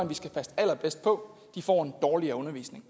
vi skal passe allerbedst på får en dårligere undervisning